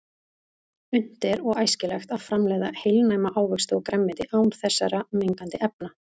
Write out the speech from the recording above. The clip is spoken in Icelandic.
Unnt er og æskilegt að framleiða heilnæma ávexti og grænmeti án þessara mengandi efna.